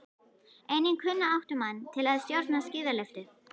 Einnig kunnáttumann til að stjórna skíðalyftu.